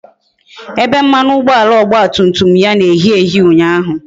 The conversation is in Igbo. Ebe mmanụ ụgbọala ọgba tum tum ya na-eyi eyi ụnyaahụ